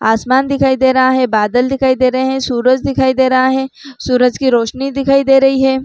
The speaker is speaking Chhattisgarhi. आसमान दिखाई दे रहा है बादल दिखाई दे रहे है सूरज दिखाई दे रहा है सूरज की रोशनी दिखाई दे रही है ।